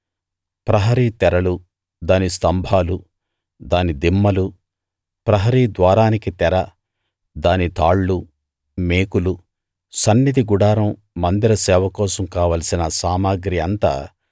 ప్రహరీ తెరలు దాని స్తంభాలు దాని దిమ్మలు ప్రహరీ ద్వారానికి తెర దాని తాళ్ళు మేకులు సన్నిధి గుడారం మందిర సేవ కోసం కావలసిన సామగ్రి అంతా